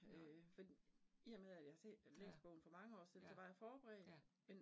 Nej. Ja, ja, ja